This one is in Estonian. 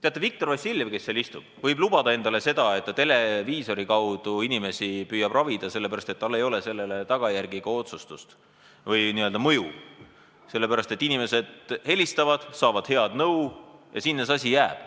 Teate, Viktor Vassiljev, kes seal istub, võib lubada endale seda, et ta televiisori kaudu püüab inimesi ravida, sellepärast et tal ei teki sellest tagajärgi või n-ö mõju, sest inimesed helistavad, saavad head nõu ja nii see asi jääb.